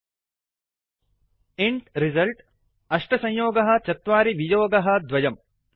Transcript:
Ind result int result 84 2अष्ट संयोगः चत्वारि वियोगः द्वयम्